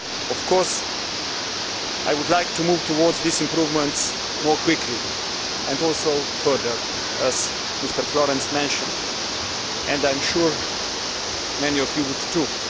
Of course, I would like to move towards these improvements more quickly and also further, as Mr Florenz mentioned, and I am sure many of you would too.